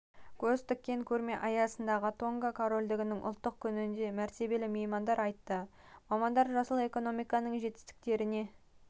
көз тіккен көрме аясындағы тонга корольдігінің ұлттық күнінде мәртебелі меймандар айтты мамандар жасыл экономиканың жетістіктеріне